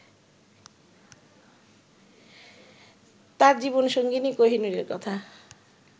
তাঁর জীবন সঙ্গিনী কোহিনূরের কথা